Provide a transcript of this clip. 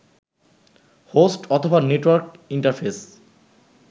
host অথবা network interface